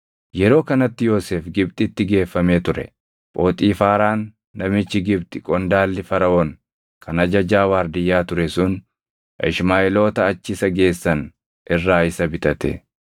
Yeroo kanatti Yoosef Gibxitti geeffamee ture. Phoxiifaaraan namichi Gibxi qondaalli Faraʼoon kan ajajaa waardiyyaa ture sun Ishmaaʼeeloota achi isa geessan irraa isa bitate.